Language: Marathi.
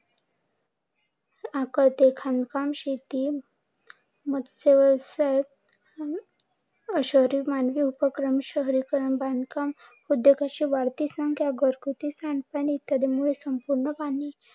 खानपान, शेती, मत्स्य व्यवसाय, मानवी उपक्रम, शहरीकरण बांधकाम, उद्योगाची वाढती संख्या, घरगुती सांडपाणी इत्यादींपासून पूर्ण पाणी